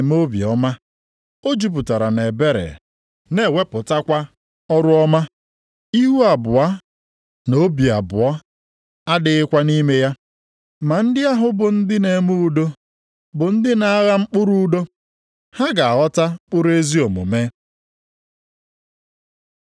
Ma amamihe na-esite nʼeluigwe abịa bụrụ ụzọ dị ọcha, emesịa, ọ hụrụ udo nʼanya, ọ na-eme obiọma, o jupụtara nʼebere, na-ewepụtakwa ọrụ ọma. Ihu abụọ na obi abụọ adịghịkwa nʼime ya.